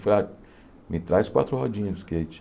Falei a, me traz quatro rodinhas de skate.